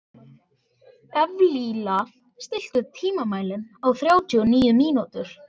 Evlalía, stilltu tímamælinn á þrjátíu og níu mínútur.